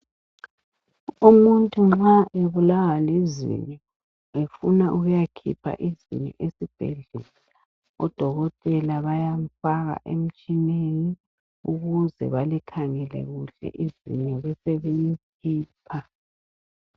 Umuntu nxa ebulawa lizinyo, efuna ukuyakhipha izinyo esibhedlela, odokotela bayamfaka emtshineni, ukuze balikhangele kuhle izinyo besebelikhipha.